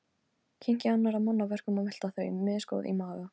Kyngja annarra manna verkum og melta þau, misgóð í maga.